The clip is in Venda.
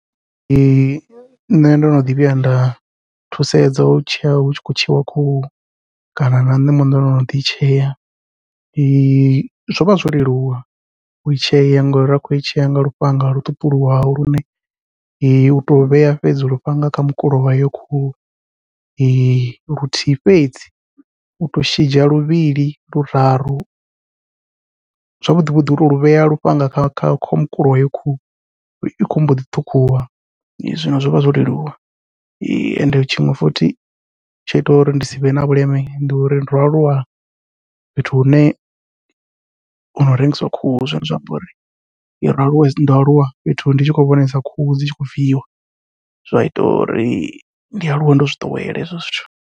Ee nṋe ndo no ḓi vhuya nda thusedza u tshea hutshi khou tsheiwa khuhu, kana na nṋe muṋe ndono ḓi i tshea zwovha zwo leluwa u tshea ngori nda khou i tshea nga lufhanga lwo ṱuṱuliwaho lune uto vhea fhedzi lufhanga kha mukulo wa heyo khuhu luthihi fhedzi uto shidza luvhili luraru zwavhuḓi vhuḓi uto luvhea lufhanga kha kha mukulo wa heyo khuhu i khou mboḓi ṱhukhuwa zwine zwovha zwo leluwa. Ende tshiṅwe futhi tsho itaho uri ndi sivhe na vhuleme ndi uri ndo aluwa fhethu hune hua rengiswa khuhu, zwine zwa amba uri ndo aluwa ndo aluwa fhethu ndi tshi khou vhonesa khuhu dzi tshi kho viiwa zwa ita uri ndi aluwe ndo zwiḓowela hezwo zwithu.